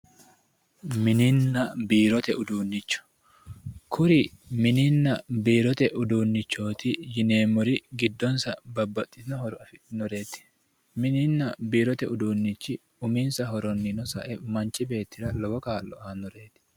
mininna biirote uduunnicho kuri minnina biirote uduunnichooti yineemmori giddonsa babbaxitino horo afidhinnoreeti mininna biirote uduunnichi uminsa horonniino sae manchi beettira lowo kaa'lo aannoreeti